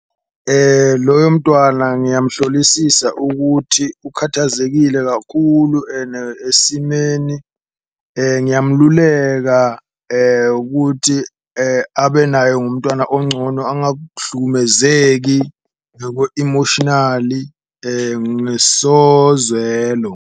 Loyo mntwana ngiyamhlolisisa ukuthi ukhathazekile kakhulu ene esimeni ngiyamululeka ukuthi, abe naye ngumntwana oncono ngekwe-emotionally nesozwelo.